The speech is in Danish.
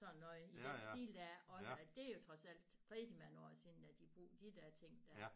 Sådan noget i den stil dér også at det er jo trods alt rigtig mange år siden at de brugte de der ting dér